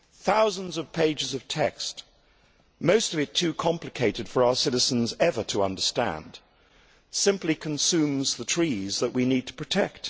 Thousands of pages of text, most of it too complicated for our citizens ever to understand, simply consumes the trees that we need to protect.